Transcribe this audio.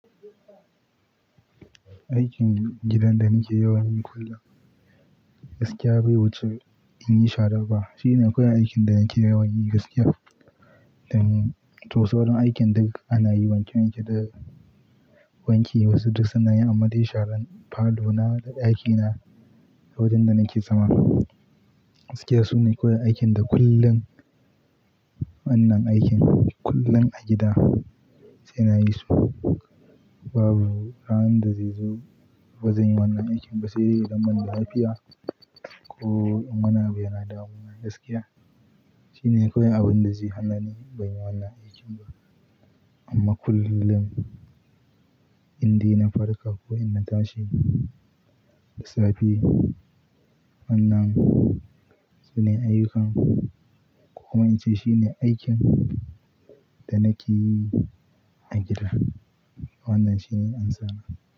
Aikin gidan da nake yawan yi kullum, gaskiya bai wuce in yi shara ba. Shine kawai aikin da nake yawan yi gaskiya. To, sauran aikin duk ana yi wanke wanke daga wanke wasu duk sana'i amma dai sharan falo na da aiki na a wurin da nake zama. Gaskiya sune kawai aikin da kullum wannan aikin kullum a gida suna yi su. Babu ranar da zai zo bazan yi wannan aikin ba sai dai idan ban da lafiya ko in wani abu yana damuna gaskiya. Shine kawai abin da zai hana ni ban yi wannan aikin ba. Amma kullum indaina farka ko in na tashi, lissafi wannan shine ayyukana. Ko kuma in ce shine aikin da nake yi a gida. Wannan shine amsa na.